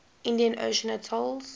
indian ocean atolls